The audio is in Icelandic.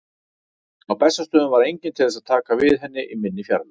Á Bessastöðum var enginn til þess að taka við henni í minni fjarveru.